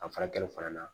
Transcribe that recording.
A furakɛli fana na